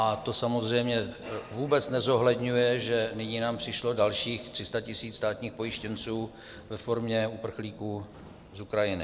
A to samozřejmě vůbec nezohledňuje, že nyní nám přišlo dalších 300 000 státních pojištěnců ve formě uprchlíků z Ukrajiny.